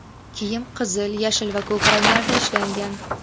Kiyim qizil, yashil va ko‘k ranglarda ishlangan.